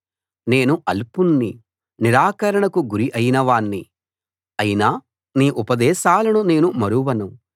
నేను అల్పుణ్ణి నిరాకరణకు గురి అయిన వాణ్ణి అయినా నీ ఉపదేశాలను నేను మరువను